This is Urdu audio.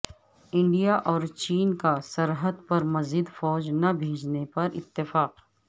انڈیا اور چین کا سرحد پر مزید فوج نہ بھیجنے پر اتفاق